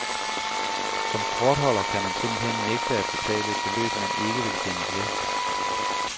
Som kortholder kan man simpelthen nægte at betale et beløb, man ikke vil kendes ved.